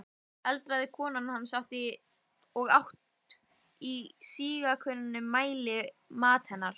eldaði kona hans, og át í síauknum mæli, mat hennar.